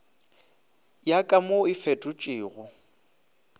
ya ka mo e fetotšwego